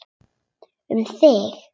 Um þig.